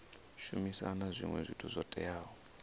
shumisa zwinwe zwithu zwo teaho